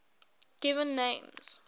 given names